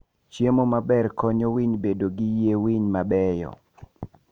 Chiemo maber konyo winy bedo gi yie winy mabeyo.